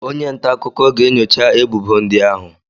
Onye nta akụkọ ga-enyocha èbùbó ndị ahụ